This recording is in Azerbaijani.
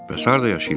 Bəs harda yaşayırsan?